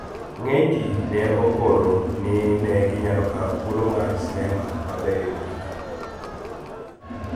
Ng`eny ji ne okoro ni ne ginyalo kawo thuolo mar sinema ma berie mogik